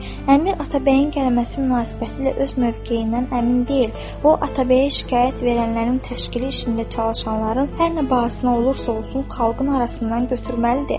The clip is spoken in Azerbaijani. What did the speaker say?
Əmir Atabəyin gəlməsi münasibətilə öz mövqeyindən əmin deyil, o, Atabəyə şikayət verənlərin təşkili işində çalışanların hər nə bahasına olursa-olsun, xalqın arasından götürməlidir.